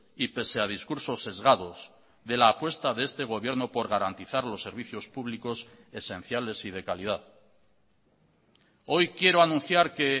y pese a discursos sesgados de la apuesta de este gobierno por garantizar los servicios públicos esenciales y de calidad hoy quiero anunciar que